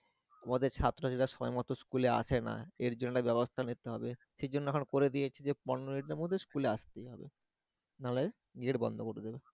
আমাদের ছাত্রছাত্রীরা ঠিকমত school এ আসে না এর জন্য ব্যবস্থা নিতে হবে, সে জন্য এখন করে দিয়েছে যে পনের muntie এর মধ্যে school এ আস্তেই হবে না হলে geat বন্ধ করে দিবে